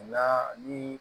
O la ni